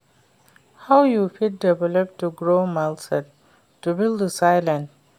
How you fit develop di growth mindset to build resilience?